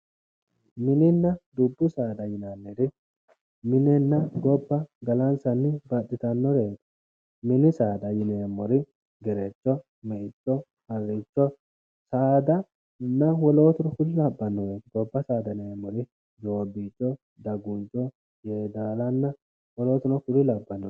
Mininna dubbu saada yinnanniri minenna gobba galanissanni baxxitannoreet mini saada yineemor gerecho, meicho, harricho, saadanna wolootunno kuri labbannoreeti gobba saada yinneemori giddo dagunicho, yeedallanna wolootunno kuri lawannoreeti